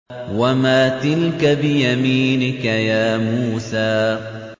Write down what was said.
وَمَا تِلْكَ بِيَمِينِكَ يَا مُوسَىٰ